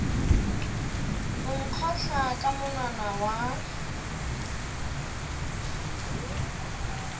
o nkgotla ka monwana wa